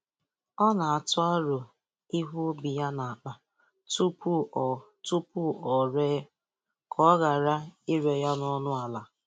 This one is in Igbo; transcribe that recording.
Ọ n'atụ aro ihe ubi ya n’akpa tupu o tupu o ree, ka ọ ghara ire ya n'ọnụ ala